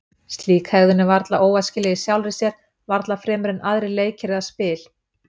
Slík hegðun er varla óæskileg í sjálfri sér, varla fremur en aðrir leikir eða spil.